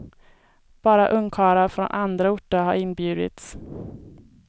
Bara ungkarlar från andra orter har inbjudits.